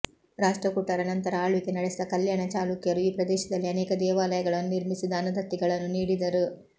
ರಾಷ್ಟ್ರಕೂಟರ ನಂತರ ಆಳ್ವಿಕೆ ನಡೆಸಿದ ಕಲ್ಯಾಣ ಚಾಲುಕ್ಯರು ಈ ಪ್ರದೇಶದಲ್ಲಿ ಅನೇಕ ದೇವಾಲಯಗಳನ್ನು ನಿರ್ಮಿಸಿ ದಾನದತ್ತಿಗಳನ್ನು ನೀಡಿದರು